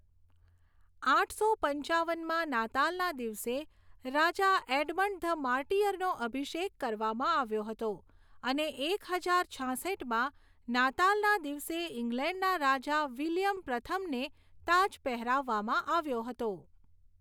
આઠસો પંચાવનમાં નાતાલના દિવસે રાજા એડમંડ ધ માર્ટિયરનો અભિષેક કરવામાં આવ્યો હતો અને એક હજાર છાસઠમાં નાતાલના દિવસે ઇંગ્લેન્ડના રાજા વિલિયમ પ્રથમને તાજ પહેરાવવામાં આવ્યો હતો.